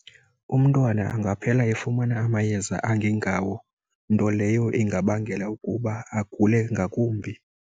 Umntwana angaphela efumana amayeza angengawo, nto leyo engabangela ukuba agule ngakumbi.